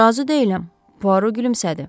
Razı deyiləm, Puaro gülümsədi.